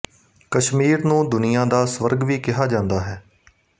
ਕਸ਼ਮੀਰ ਨੂੰ ਦੁਨੀਆ ਦਾ ਸਵਰਗ ਵੀ ਕਿਹਾ ਜਾਂਦਾ ਹੈ